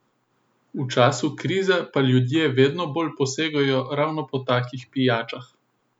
V času krize pa ljudje vedno bolj posegajo ravno po takšnih pijačah.